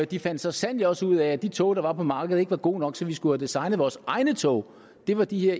de fandt så sandelig også ud af at de tog der var på markedet ikke var gode nok så vi skulle have designet vores egne tog det var de her